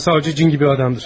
Amma savçı cin kimi adamdır.